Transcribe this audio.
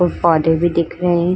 और पौधे भी दिख रहे हैं।